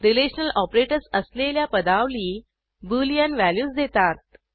relational operators असलेल्या पदावली Boolean values देतात